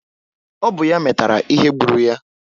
Ọ bụ ya metara ihe gbulu ya